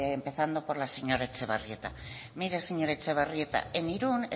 empezando la señora etxebarrieta mire señora etxebarrieta en irún